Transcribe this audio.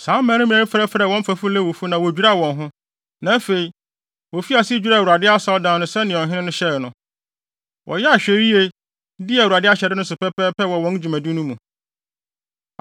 Saa mmarima yi frɛfrɛɛ wɔn mfɛfo Lewifo, na wodwiraa wɔn ho. Na afei, wofii ase dwiraa Awurade Asɔredan no sɛnea ɔhene no hyɛe no. Wɔyɛɛ ahwɛyie, dii Awurade ahyɛde no so pɛpɛɛpɛ wɔ wɔn dwumadi no mu.